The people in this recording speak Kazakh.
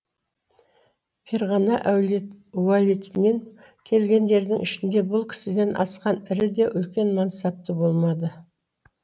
ферғана уәлитінен келгендердің ішінде бұл кісіден асқан ірі де үлкен мансапты болмады